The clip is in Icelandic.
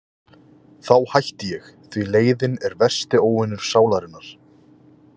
Þá hætti ég, því leiðinn er versti óvinur sálarinnar.